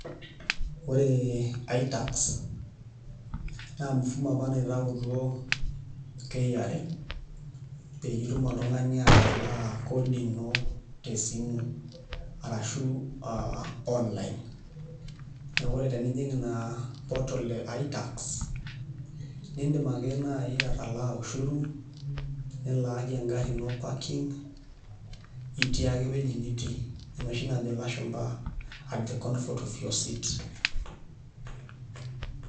Ore itax naa mfumo apa naitautuo KRA peyie itumoki oltung'ani atalaa kodi ino tesimu arashu aa online neeku ore tenijing' ina portal e itax niidim ake naai atalaa ushuru nilaaki engarri ino parking itii ake ewueji nitii enoshi najo ilashumba at the comfort of your seat.